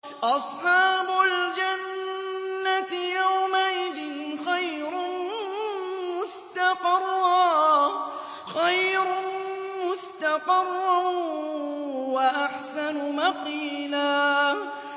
أَصْحَابُ الْجَنَّةِ يَوْمَئِذٍ خَيْرٌ مُّسْتَقَرًّا وَأَحْسَنُ مَقِيلًا